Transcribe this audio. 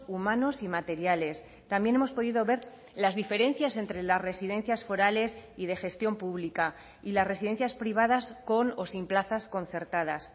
humanos y materiales también hemos podido ver las diferencias entre las residencias forales y de gestión pública y las residencias privadas con o sin plazas concertadas